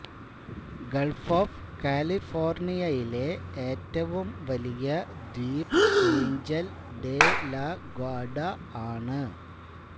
Gulf of കാലിഫോർണിയിലെ ഏറ്റവും വലിയ ദ്വീപ് എയ്ഞ്ചൽ ഡെ ലാ ഗ്വാർഡ ആണ്